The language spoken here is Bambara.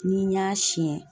Ni n y'a siɲɛ